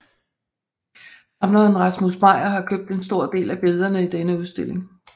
Samleren Rasmus Meyer har købt en stor del af billederne i denne udstilling